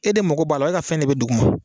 E de mago b'a la , i ka fɛn de bɛ dugu ma.